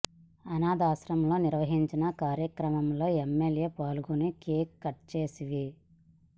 అనాథాశ్రమంలో నిర్వహించిన కార్యక్రమంలో ఎమ్మెల్యే పాల్గొని కేక్ కట్ చేసి వి